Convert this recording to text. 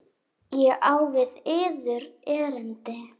Ég á við yður erindi.